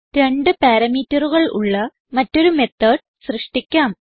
രണ്ട് parameterകൾ ഉള്ള മറ്റൊരു മെത്തോട് സൃഷ്ടിക്കാം